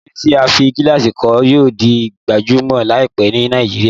Àwọn ilé tí a fí gílàsì kọ́ yíò di gbajúmọ̀ láìpẹ́ ni Nàìjíríà